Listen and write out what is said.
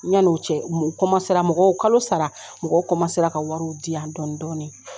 yan'o cɛ u mɔgɔw kalo sara mɔgɔ ka wariw di yan dɔɔnin-dɔɔnin